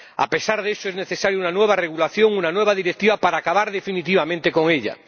A pesar de eso, es necesaria una nueva regulación, una nueva directiva, para acabar definitivamente con ella.